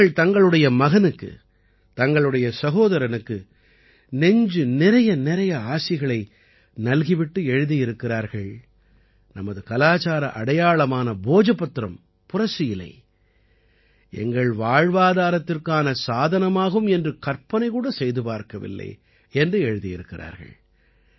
அவர்கள் தங்களுடைய மகனுக்கு தங்களுடைய சகோதரனுக்கு நெஞ்சு நிறையநிறைய ஆசிகளை நல்கி விட்டு எழுதியிருக்கிறார்கள் நமது கலாச்சார அடையாளமான போஜபத்ரம் புரசு இலை எங்கள் வாழ்வாதாரத்திற்கான சாதனமாகும் என்று கற்பனை கூட செய்து பார்க்கவில்லை என்று எழுதியிருக்கிறார்கள்